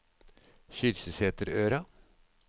Kyrksæterøra